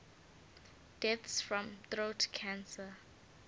deaths from throat cancer